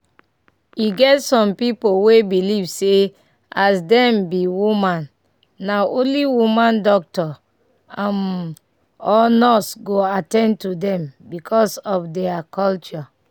eget some people we belive say as dem be woman na only woman doctor um or nurse go attain to dem because of deir culture.